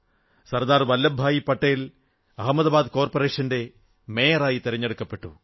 സർദാർ വല്ലഭ് ഭായി പട്ടേൽ അഹമദാബാദ് കോർപ്പറേഷന്റെ മേയറായി തിരഞ്ഞെടുക്കപ്പെട്ടു